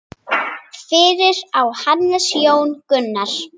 Fyrir á Hannes Jón Gunnar.